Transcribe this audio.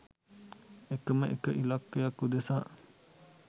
එක ම එක ඉලක්කයක් උදෙසා.